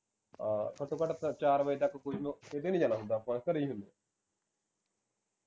ਅਹ ਘੱਟੋ ਘੱਟ ਚਾਰ ਵਜੇ ਤੱਕ ਕਿਤੇ ਨੀ ਜਾਣਾ ਹੁੰਦਾ ਆਪਾ ਘਰੇ ਹੀ ਹੁੰਦੇ